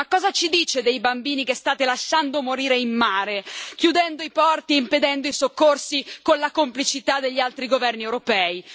Ma cosa ci dice dei bambini che state lasciando morire in mare, chiudendo i porti e impedendo i soccorsi, con la complicità degli altri governi europei?